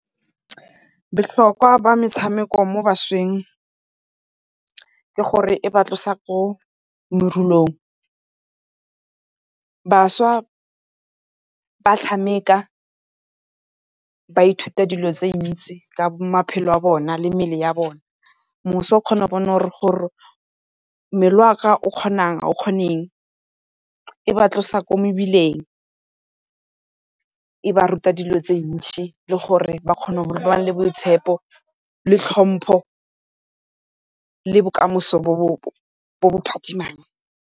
Bohlokwa ba metshameko mo bašweng ke gore e ba tlosa ko morulong, bašwa ba ba ithuta dilo tse dintsi ka maphelo a bona le mebele ya bone. o kgona go bona gore mmele wa ka o kgona eng, ga o kgone eng, e ba tlosa ko mebileng, e ba ruta dilo tse ntšhi le gore ba kgone go nna le boitshepo le tlhompo le bokamoso bo bo phatsimang.